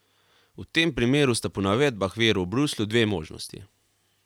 V tem primeru sta po navedbah virov v Bruslju dve možnosti.